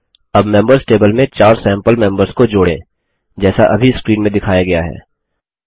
अब members table में 4 sample members को जोड़ें जैसा अभी स्क्रीन में दिखाया गया है